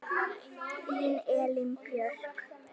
Þín Elín Björk.